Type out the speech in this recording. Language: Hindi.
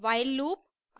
while loop